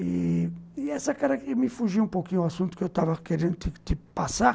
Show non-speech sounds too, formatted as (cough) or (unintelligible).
E... essa (unintelligible) me fugia um pouquinho do assunto que eu estava querendo te te te passar.